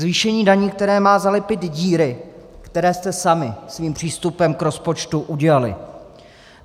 Zvýšení daní, které má zalepit díry, které jste sami svým přístupem k rozpočtu udělali.